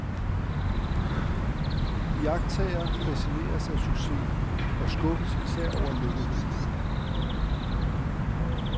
Iagtagere facineres af successen, og skuffes især over lukketheden.